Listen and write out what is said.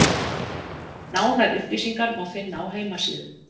Nánari upplýsingar má finna á heimasíðu